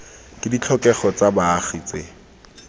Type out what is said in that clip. ke ditlhokego tsa baagi tse